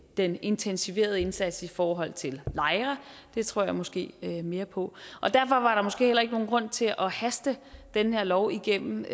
den intensiverede indsats i forhold til lejre det tror jeg måske mere på derfor var der måske heller ikke nogen grund til at haste den her lov igennem